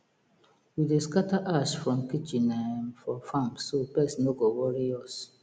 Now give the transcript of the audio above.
we dey scatter ash from kitchen um for farm so pest no go worry us